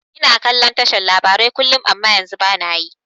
Ina kallon tashar labarai kullum amma yanzu bana yi